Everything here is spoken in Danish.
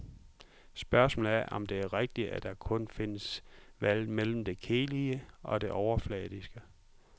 Spørgsmålet er, om det er rigtigt, at der kun findes valget mellem det kedelige og det overfladiske.